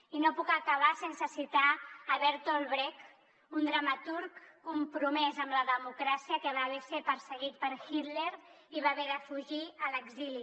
i no puc acabar sense citar bertolt brecht un dramaturg compromès amb la democràcia que va ser perseguit per hitler i va haver de fugir a l’exili